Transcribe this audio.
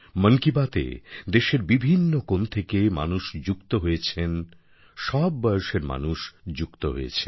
মন কি বাতএ দেশের বিভিন্ন কোণ থেকে মানুষ যুক্ত হয়েছেন সব বয়সের মানুষ যুক্ত হয়েছেন